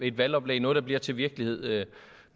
et valgoplæg noget der bliver til virkelighed